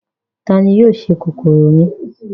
Ta ni yóò se kòkòrò mi?